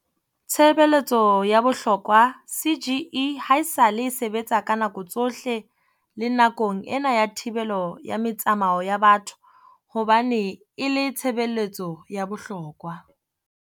Tshebeletso ya bohlokwa CGE haesale e sebetsa ka nako tsohle le nakong ena ya thibelo ya metsamao ya batho hobane e le tshebe letso ya bohlokwa.